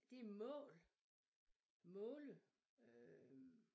Det mål måle øh